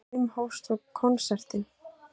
Klukkan fimm hófst svo konsertinn.